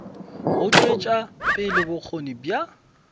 go tšwetša pele bokgoni bja